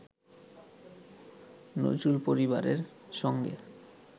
নজরুল পরিবারের সঙ্গে